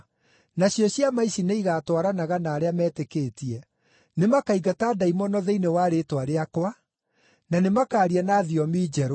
Nacio ciama ici nĩ igatwaranaga na arĩa metĩkĩtie: Nĩmakaingata ndaimono thĩinĩ wa rĩĩtwa rĩakwa; na nĩmakaaria na thiomi njerũ;